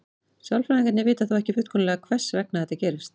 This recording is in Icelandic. Sálfræðingar vita þó ekki fullkomlega hvers vegna þetta gerist.